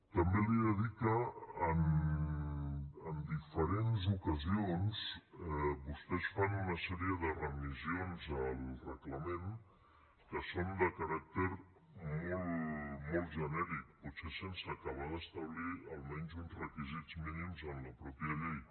també li he de dir que en diferents ocasions vostès fan una sèrie de remissions al reglament que són de caràcter molt molt genèric potser sense acabar d’establir almenys uns requisits mínims en la mateixa llei